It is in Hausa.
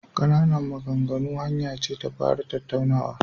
Ƙananan maganganu hanya ce ta fara tattaunawa..